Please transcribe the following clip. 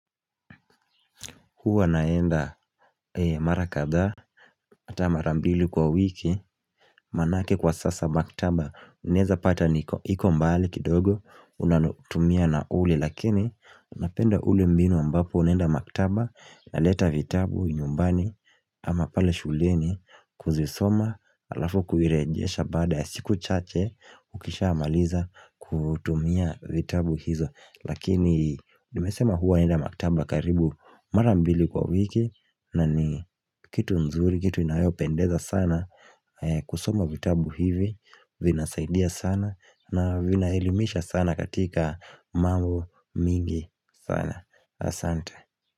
Huwa naenda marakadhaa ata marambili kwa wiki Manake kwa sasa maktaba Unaeza pata niko mbali kidogo Unatumia na uli Lakini napenda uli mbino ambapo unaenda maktaba na leta vitabu nyumbani ama pale shuleni kuzisoma Alafu kuirejesha baada ya siku chache Ukisha amaliza kutumia vitabu hizo Lakini nimesema huwa enda maktaba karibu marambili kwa wiki na ni kitu nzuri, kitu inayopendeza sana kusoma vitabu hivi vinasaidia sana na vinaelimisha sana katika mambo mingi sana Asante.